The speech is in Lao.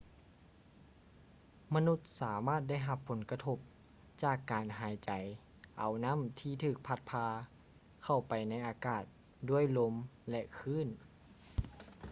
ມະນຸດສາມາດໄດ້ຮັບຜົນກະທົບຈາກການຫາຍໃຈເອົານໍ້າທີ່ຖືກພັດພາເຂົ້າໄປໃນອາກາດດ້ວຍລົມ ແລະ ຄື້ນ